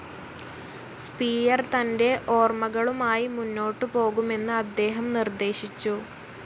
Spear തന്റെ ഓർമ്മകളുമായി മുന്നോട്ടുപോകുമെന്ന് അദ്ദേഹം നിർദ്ദേശിച്ചു.